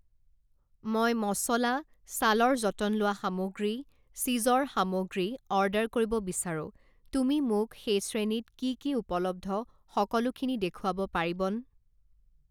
মই মচলা, ছালৰ যতন লোৱা সামগ্ৰী, চিজৰ সামগ্ৰী অৰ্ডাৰ কৰিব বিচাৰোঁ, তুমি মোক সেই শ্ৰেণীত কি কি উপলব্ধ সকলোখিনি দেখুৱাব পাৰিবন?